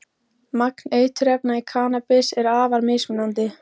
Magn eiturefna í kannabis er afar mismunandi.